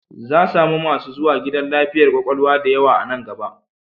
Za samu masu zuwa gidan lafiyar kwakwalwa da yawa a nan gaba